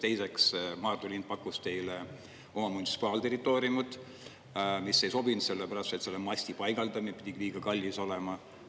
Teiseks, Maardu linn pakkus teile oma munitsipaalterritooriumit, mis ei sobinud sellepärast, et selle masti paigaldamine pidi liiga kallis olema.